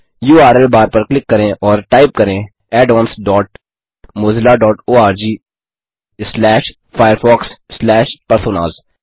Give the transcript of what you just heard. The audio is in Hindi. यूआरएल बार पर क्लिक करें और टाइप करें addonsmozillaorgfirefoxपर्सोनास